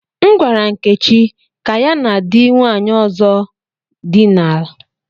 M gwara Nkechi ka ya na di nwanyi ozo dina la.